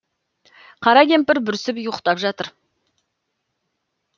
қара кемпір бүрісіп ұйықтап жатыр